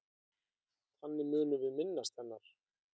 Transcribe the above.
Þannig munum við minnast hennar.